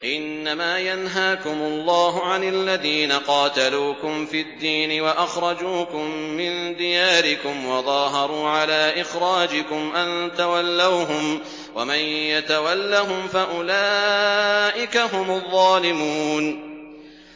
إِنَّمَا يَنْهَاكُمُ اللَّهُ عَنِ الَّذِينَ قَاتَلُوكُمْ فِي الدِّينِ وَأَخْرَجُوكُم مِّن دِيَارِكُمْ وَظَاهَرُوا عَلَىٰ إِخْرَاجِكُمْ أَن تَوَلَّوْهُمْ ۚ وَمَن يَتَوَلَّهُمْ فَأُولَٰئِكَ هُمُ الظَّالِمُونَ